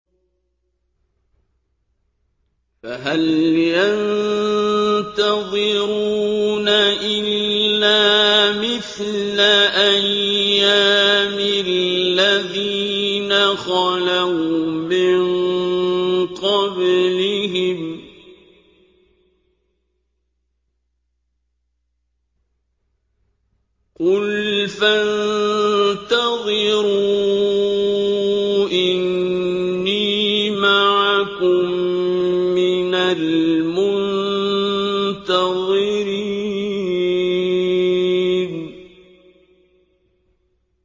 فَهَلْ يَنتَظِرُونَ إِلَّا مِثْلَ أَيَّامِ الَّذِينَ خَلَوْا مِن قَبْلِهِمْ ۚ قُلْ فَانتَظِرُوا إِنِّي مَعَكُم مِّنَ الْمُنتَظِرِينَ